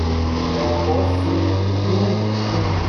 jọwọ ṣe iwuri fun u